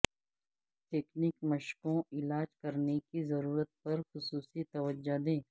تکنیک مشقوں علاج کرنے کی ضرورت پر خصوصی توجہ دیں